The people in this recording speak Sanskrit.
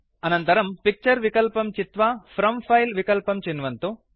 आनन्तरं पिक्चर विकल्पं चित्वा फ्रॉम् फिले विक्लल्पं चिन्वन्तु